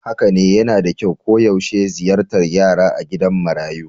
Haka ne, yana da kyau koyaushe ziyartar yara a gidan marayu